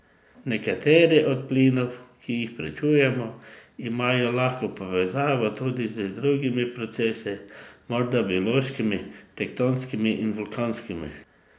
Nekateri od plinov, ki jih preučujemo, imajo lahko povezavo tudi z drugimi procesi, morda biološkimi, tektonskimi in vulkanskimi.